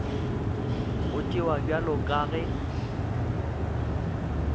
go tšewa bjalo ka ge